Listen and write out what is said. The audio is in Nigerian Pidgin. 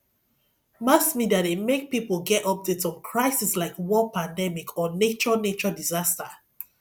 mass media de make pipo get update on crisis like war pandemic or nature nature disaster